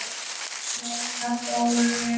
Jóna Þórunn.